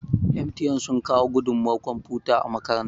MTN sun kawo gudunmawar kwamfuta a makaranta